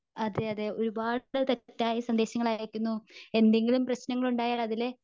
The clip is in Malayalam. അതെയതെ ഒരുപാടു തെറ്റായ സന്ദേശങ്ങൾ അയക്കുന്നു. എന്തെങ്കിലും പ്രശ്നങ്ങൾ ഉണ്ടായാൽ അതിലെ